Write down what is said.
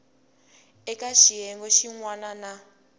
eka xiyenge xin wana na